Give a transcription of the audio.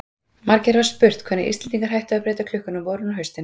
Margir hafa spurt um hvenær Íslendingar hættu að breyta klukkunni á vorin og haustin.